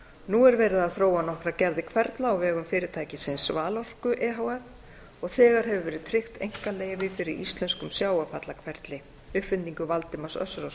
nú er verið að þróa nokkrar gerðir hverfla á vegum fyrirtækisins valorku e h f og þegar hefur verið tryggt einkaleyfi fyrir íslenskum sjávarfallahverfli uppfinningu valdimars össurarsonar